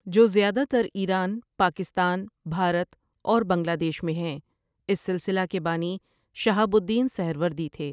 جو زیادہ تر ایران، پاکستان، بھارت اور بنگلہ دیش میں ہیں اس سلسلہ کے بانی شہاب الدین سہروردی تھے ۔